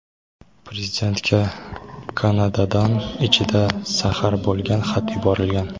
Prezidentga Kanadadan ichida zahar bo‘lgan xat yuborilgan.